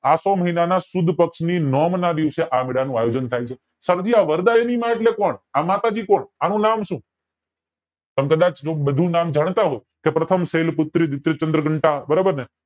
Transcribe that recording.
આસો મહિનાની સુદ પક્ષ ના નોમ ના દિવસે આયોજન થાય છે સરજી આ વરદાયની માં એટલે કોણ આ માતાજી કોણ આનું નામ સુ તમે બધા જ જો બધું નામ જાણતા હોવ તો પ્રથમ શૈલ પુત્ર બરોબર ને